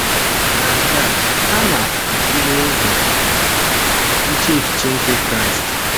Na nke a, ha na - atule ụzọ iche echiche nke Kraịst.